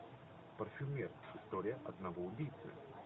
парфюмер история одного убийцы